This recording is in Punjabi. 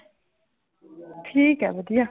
ਠੀਕ ਹੈ ਵਧੀਆ।